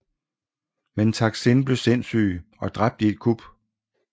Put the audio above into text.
Men Taksin blev sindssyg og blev dræbt i et kup